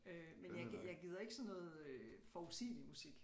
Øh men jeg jeg gider ikke sådan noget øh forudsigelig musik